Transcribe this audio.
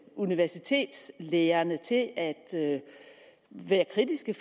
universitetslærerne til at at være kritiske